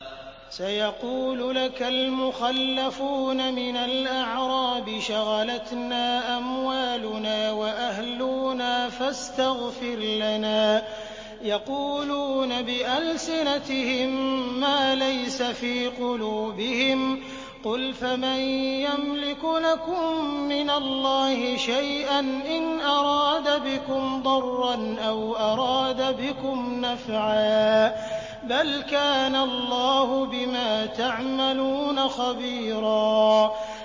سَيَقُولُ لَكَ الْمُخَلَّفُونَ مِنَ الْأَعْرَابِ شَغَلَتْنَا أَمْوَالُنَا وَأَهْلُونَا فَاسْتَغْفِرْ لَنَا ۚ يَقُولُونَ بِأَلْسِنَتِهِم مَّا لَيْسَ فِي قُلُوبِهِمْ ۚ قُلْ فَمَن يَمْلِكُ لَكُم مِّنَ اللَّهِ شَيْئًا إِنْ أَرَادَ بِكُمْ ضَرًّا أَوْ أَرَادَ بِكُمْ نَفْعًا ۚ بَلْ كَانَ اللَّهُ بِمَا تَعْمَلُونَ خَبِيرًا